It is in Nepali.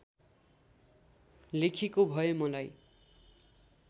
लेखेको भए मलाई